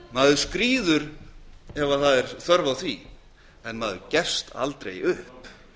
maður skríður ef það er þörf á því en maður gefst aldrei upp